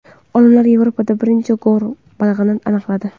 Olimlar Yevropada birinchi g‘or balig‘ini aniqladi.